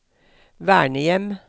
vernehjem